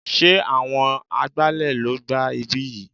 Sé àwọn agbálẹ̀ ló gbá ibí yìí?